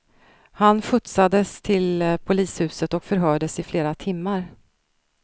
Han skjutsades till polishuset och förhördes i flera timmar.